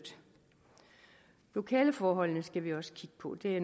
lokaleforholdene skal vi også kigge på det er